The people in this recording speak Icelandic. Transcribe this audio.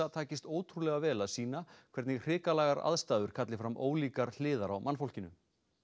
takist ótrúlega vel að sýna hvernig hrikalegar aðstæður kalli fram ólíkar hliðar á mannfólkinu